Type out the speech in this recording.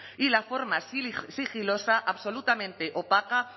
y la forma sigilosa absolutamente opaca